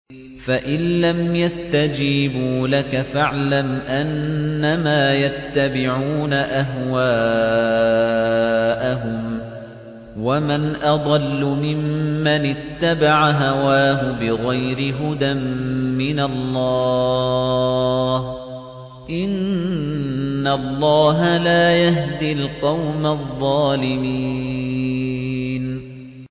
فَإِن لَّمْ يَسْتَجِيبُوا لَكَ فَاعْلَمْ أَنَّمَا يَتَّبِعُونَ أَهْوَاءَهُمْ ۚ وَمَنْ أَضَلُّ مِمَّنِ اتَّبَعَ هَوَاهُ بِغَيْرِ هُدًى مِّنَ اللَّهِ ۚ إِنَّ اللَّهَ لَا يَهْدِي الْقَوْمَ الظَّالِمِينَ